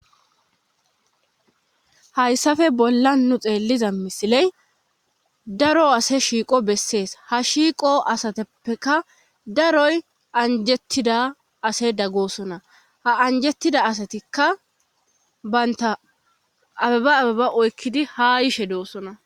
hayssafe bolla nu xeelliza misiley daro ase shiiqo bessees ha shiiqo asateppeka daroy anjettida ase daggosona ha anjettida asatikka baynta ababa ababa oykkidi ha ishe doossona